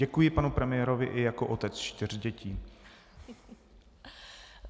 Děkuji panu premiérovi i jako otec čtyř dětí.